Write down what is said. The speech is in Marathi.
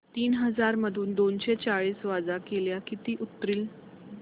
तीन हजार मधून दोनशे चाळीस वजा केल्यास किती उरतील